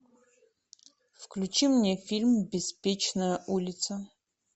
включи мне фильм беспечная улица